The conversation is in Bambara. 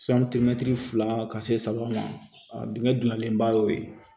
fila ka se saba ma a dingɛ donyalen ba y'o ye